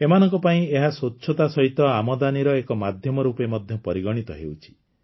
ଏମାନଙ୍କ ପାଇଁ ଏହା ସ୍ୱଚ୍ଛତା ସହିତ ଆମଦାନୀର ଏକ ମାଧ୍ୟମ ରୂପେ ମଧ୍ୟ ପରିଗଣିତ ହେଉଛି